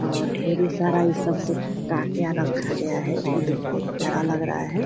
और ढेरी सारा ये सब कुछ काक्या रखा गया है जो बहुत प्यारा लग रहा है|